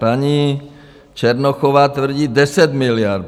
Paní Černochová tvrdí 10 miliard.